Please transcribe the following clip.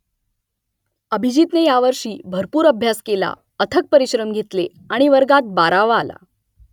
अभिजीतने यावर्षी भरपूर अभ्यास केला अथक परिश्रम घेतले आणि वर्गात बारावा आला